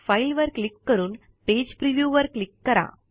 file वर click करून page preview वर क्लिक करा